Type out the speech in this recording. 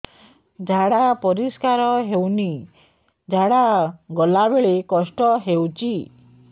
ଝାଡା ପରିସ୍କାର ହେଉନି ଝାଡ଼ା ଗଲା ବେଳେ କଷ୍ଟ ହେଉଚି